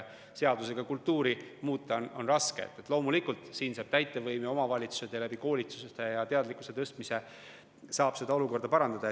Seadusega kultuuri muuta on raske, aga loomulikult saab täitevvõim, saavad omavalitsused koolituste ja teadlikkuse tõstmise abil olukorda parandada.